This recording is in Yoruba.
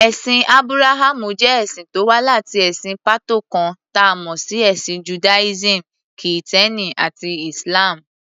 Ẹ̀sìn Ábúráhámù jẹ́ ẹ̀sìn tó wá láti ẹ̀sìn pàtó kan, ta mọ̀ sí Ẹ̀sìn Judaism, Kìtẹ́ẹ́nì àti Islam.